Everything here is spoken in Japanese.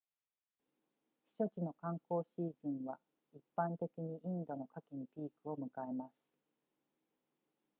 避暑地の観光シーズンは一般的にインドの夏季にピークを迎えます